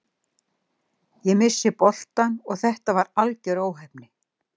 Ég missti boltann og þetta var algjör óheppni.